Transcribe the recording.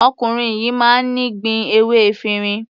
Ọkùnrin yìí máa ń ní gbin ewé efirin.